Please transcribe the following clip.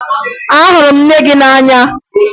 Ị hụrụ nne gị n'anya?